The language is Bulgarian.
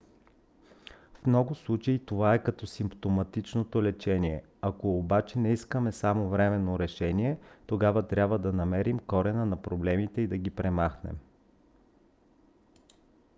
в много случаи това е точно като симптоматичното лечение. ако обаче не искаме само временно решение тогава трябва да намерим корена на проблемите и да ги премахнем